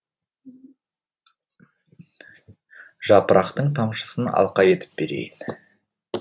жапырақтың тамшысын алқа етіп берейін